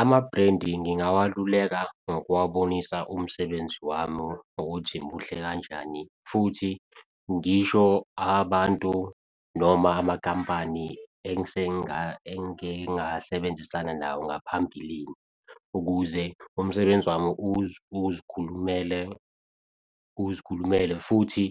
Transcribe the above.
Ama-brand ngingawaluleka ngokuwabonisa umsebenzi wami ukuthi muhle kanjani. Futhi ngisho abantu noma amakampani engike ngasebenzisana nawo ngaphambilini, ukuze umsebenzi wami uzikhulumele, uzikhulumele futhi